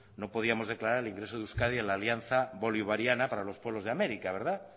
no podíamos declarar el ingreso de euskadi en la alianza bolivariana para los pueblos de américa verdad